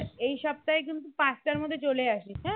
এই সপ্তাহে কিন্তু পাঁচটার মধ্যে চলে আসিস হ্যাঁ